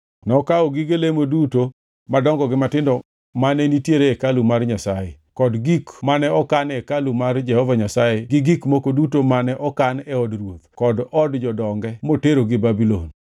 Nokawo gige lemo duto madongo gi matindo mane nitiere e hekalu mar Nyasaye, kod gik mane okan e hekalu mar Jehova Nyasaye gi gik moko duto mane okan e od ruoth kod od jodonge moterogi Babulon.